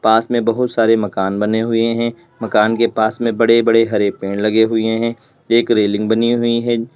पास में बहुत सारे मकान बने हुए हैं मकान के पास में बड़े बड़े हरे पेड़ लगे हुए हैं एक रेलिंग बनी हुई है।